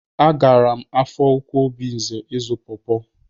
A gaara m Afọ Ukwu Obinze ịzụ pọpọ.